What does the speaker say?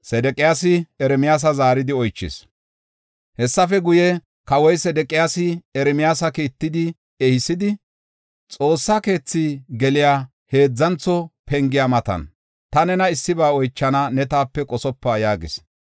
Hessafe guye, kawoy Sedeqiyaasi Ermiyaasa kiittidi ehisidi, xoossa keethi geliya heedzantho pengiya matan, “Ta nena issiba oychana; ne taape qosopa” yaagis.